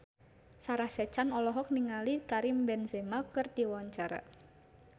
Sarah Sechan olohok ningali Karim Benzema keur diwawancara